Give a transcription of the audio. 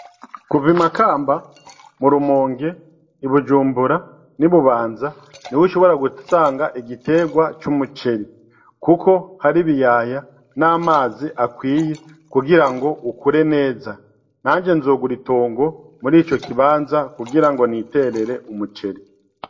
Kuv'i makamba, mu rumonge, i bujumbura, n'i bubanza niho ushobora gusanga igiterwa c'umuceri . Kuko har'ibiyaya n'amazi akwiye kugira ngo ukure neza , nanje nzogur'itongo mur'ico kibanza kugira niterere umuceri.